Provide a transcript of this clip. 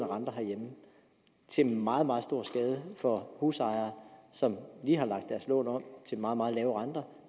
renter herhjemme til meget meget stor skade for husejere som lige har lagt deres lån om til meget meget lave renter